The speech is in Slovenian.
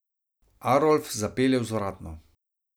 Arolf zapelje vzvratno.